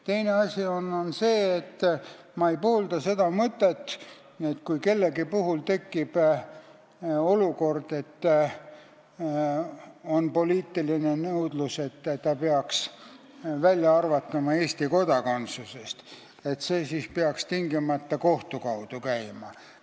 Teine asi on see, et ma ei poolda seda mõtet, et kui kellegi puhul tekib poliitiline nõudlus ta Eesti kodakondsusest välja arvata, siis see peaks tingimata kohtu kaudu käima.